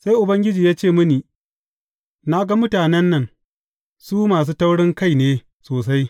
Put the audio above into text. Sai Ubangiji ya ce mini, Na ga mutanen nan, su masu taurinkai ne sosai!